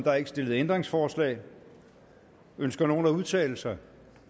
er ikke stillet ændringsforslag ønsker nogen at udtale sig